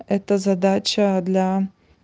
это задача для